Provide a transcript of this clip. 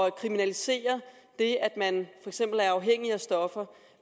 at kriminalisere det at man er afhængig af stoffer